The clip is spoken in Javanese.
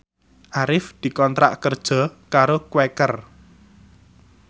Arif dikontrak kerja karo Quaker